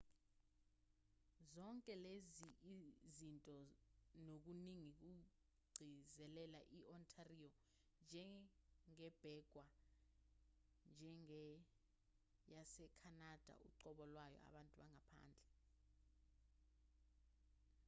zonke lezi zinto nokuningi kugcizelela i-ontario njengebhekwa njengeyasekhanada uqobo lwayo abantu bangaphandle